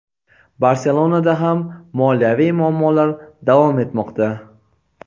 "Barselona"da ham moliyaviy muammolar davom etmoqda.